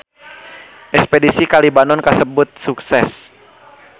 Espedisi ka Libanon kasebat sukses